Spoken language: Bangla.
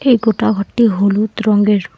এই গোটা ঘরটি হলুদ রঙের।